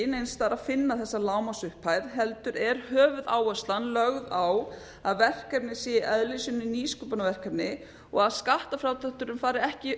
að finna þessa lágmarksupphæð heldur er höfuðáherslan lögð á að verkefnið sé í eðli sínu nýsköpunarverkefni og að skattfrádrátturinn fari ekki